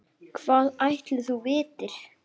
Hvað ætli þú vitir?